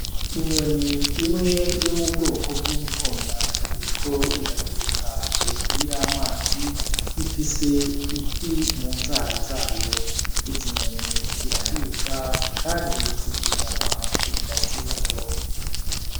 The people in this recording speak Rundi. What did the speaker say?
Inyoni imwe yo mu bwoko bw'inkona iriko iraguruka hejuru y'amazi ifise ifi mu nzara zayo, izi nyoni zirahiga kandi zirya kugira zibeho.